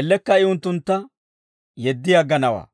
ellekka I unttuntta yeddi agganawaa.»